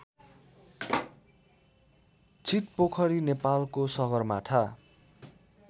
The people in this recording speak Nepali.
छितपोखरी नेपालको सगरमाथा